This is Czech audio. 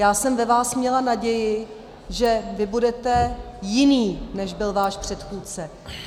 Já jsem ve vás měla naději, že vy budete jiný, než byl váš předchůdce.